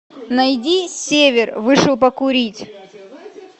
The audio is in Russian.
найди север вышел покурить